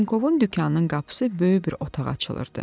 Trenkovun dükanının qapısı böyük bir otağa açılırdı.